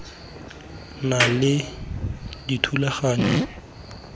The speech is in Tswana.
na le dithulaganyo tsa bona